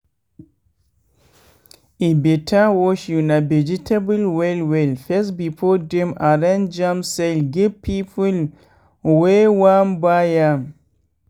e better to wash una vegetable well well first before dem arrange am sell give people wey wan buy am.